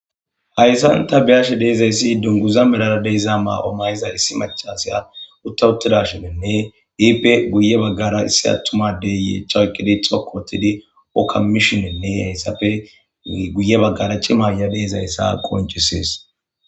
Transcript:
hayssan ta biyashe deezayssi dunguza melaradeyza maa7o mayza issi machasya uttawuttida shinenne iipe guye baggara issi attumadeyye chaykedi xokotidi okka mishonenne hayssafe guye baggara chi maayabeezayssa qoncisees